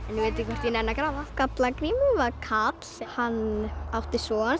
veit ekki hvort ég nenni að grafa skalla Grimur var karl hann átti son